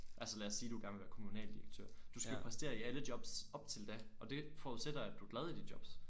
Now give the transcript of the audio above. Altså lad os sige du gerne vil være kommunaldirektør. Du skal præstere i alle jobs op til da og det forudsætter at du er glad i de jobs